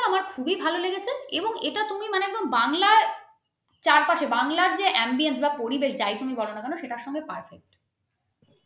খুবই ভালো লেগেছে এবং এইটা মানে তুমি একদম বাংলার চারপাশে বাংলার যে ambience বা পরিবেশ যাই তুমি বোলো না কেন সেইটার সাথে perfect